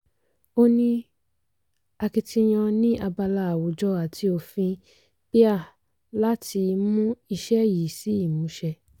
ó ní akitiyan ní abala àwùjọ àti òfin pia láti mú iṣẹ́ yìí sí ìmúṣẹ.